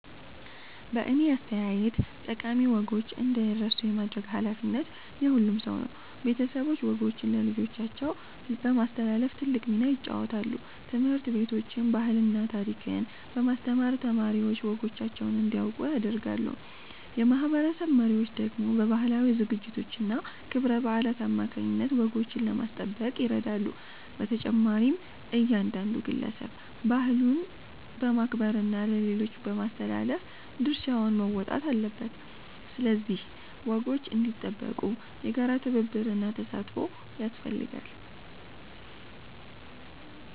በእኔ አስተያየት ጠቃሚ ወጎች እንዳይረሱ የማድረግ ኃላፊነት የሁሉም ሰው ነው። ቤተሰቦች ወጎችን ለልጆቻቸው በማስተላለፍ ትልቅ ሚና ይጫወታሉ። ትምህርት ቤቶችም ባህልና ታሪክን በማስተማር ተማሪዎች ወጎቻቸውን እንዲያውቁ ያደርጋሉ። የማህበረሰብ መሪዎች ደግሞ በባህላዊ ዝግጅቶችና ክብረ በዓላት አማካይነት ወጎችን ለማስጠበቅ ይረዳሉ። በተጨማሪም እያንዳንዱ ግለሰብ ባህሉን በማክበርና ለሌሎች በማስተላለፍ ድርሻውን መወጣት አለበት። ስለዚህ ወጎች እንዲጠበቁ የጋራ ትብብርና ተሳትፎ ያስፈልጋል።